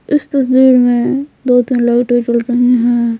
इस तस्वीर में दो-तीन लाइटें जल रही है।